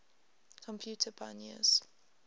computer pioneers